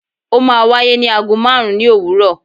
o ma wàyé ni àgó marún ni owúrò